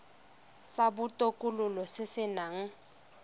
sa botokololo se se nang